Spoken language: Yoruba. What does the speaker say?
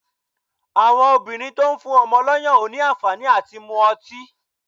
Àwọn obìnrin tó ń fún ọmọ lọ́yàn ò ní àǹfàní à ti mú ọtí.